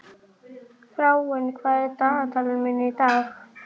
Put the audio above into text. Berghildur Erla Bernharðsdóttir: Er það hægt?